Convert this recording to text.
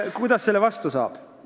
Kuidas selle vastu saab?